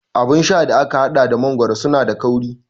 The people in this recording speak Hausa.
Abun sha da aka haɗa da mangoro suna da kauri